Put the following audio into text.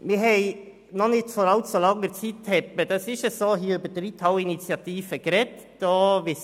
Vor nicht allzu langer Zeit wurde über die Reithalleninitiative diskutiert;